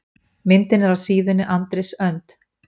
Myndin er af síðunni Andrés Önd.